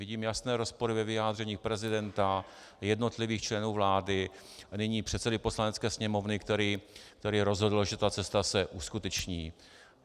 Vidím jasné rozpory ve vyjádření prezidenta, jednotlivých členů vlády, nyní předsedy Poslanecké sněmovny, který rozhodl, že ta cesta se uskuteční.